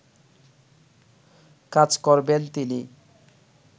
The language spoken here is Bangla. কাজ করবেন তিনি